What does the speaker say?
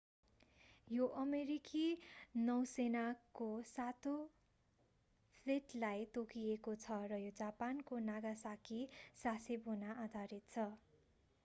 यो अमेरिकी नौसेनाको सातौँ फ्लिटलाई तोकिएको छ र यो जापानको नागासाकी सासेबोमा आधारित छ